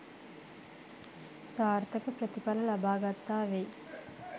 සාර්ථක ප්‍රතිඵල ලබා ගත්තා වෙයි.